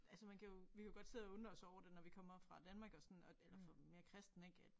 Altså man kan jo vi kan jo godt sidde og undre os over det når vi kommer fra Danmark og sådan og eller mere kristen ik at